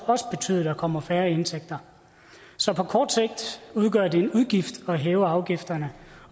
også betyde at der kommer færre indtægter så på kort sigt udgør det en udgift at hæve afgifterne